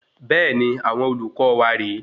Bẹẹni, àwọn olùkọ wa rè é